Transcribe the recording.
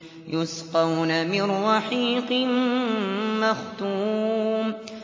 يُسْقَوْنَ مِن رَّحِيقٍ مَّخْتُومٍ